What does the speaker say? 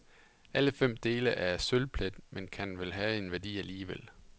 Alle fem dele er af sølvplet, men kan vel have en værdi alligevel.